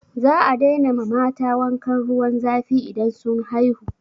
Za a daina ma mata wankan ruwan zafi idan sun haihu.